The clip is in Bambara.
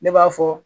Ne b'a fɔ